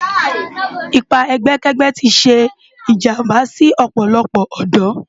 Ipá ègbèkègbè ti sé ijàmbá si òpòlòpò òdò